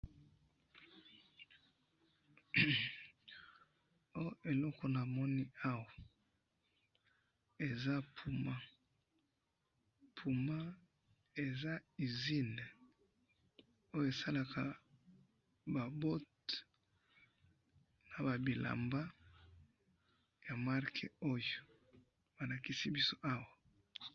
Oo eloko namoni awa, eza PUMA, PUMA eza usine, oyo esalaka ba bote, nababilamba ya marque oyo, balakisi biso awa